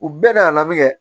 U bɛɛ n'a laminɛ